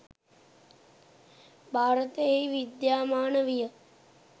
භාරතයෙහි විද්‍යාමාන විය.